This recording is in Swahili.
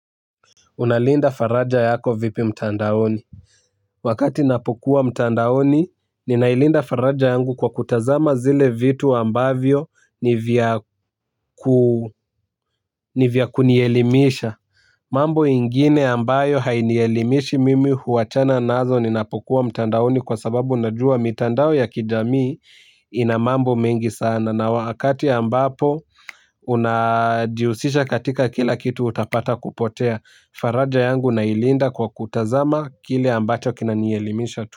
Unalinda faraja yako vipi mtandaoni. Wakati napokuwa mtandaoni, ninailinda faraja yangu kwa kutazama zile vitu ambavyo nivya kunielimisha. Mambo ingine ambayo hainielimishi mimi huachana nazo ninapokuwa mtandaoni kwa sababu unajua mitandao ya kijamii ina mambo mengi sana. Na wakati ambapo unajihusisha katika kila kitu utapata kupotea. Faraja yangu nailinda kwa kutazama kile ambacho kina nielimisha tu.